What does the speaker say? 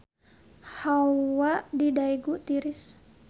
Hawa di Daegu tiris